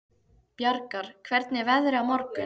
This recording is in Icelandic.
Bjargar, hvernig er veðrið á morgun?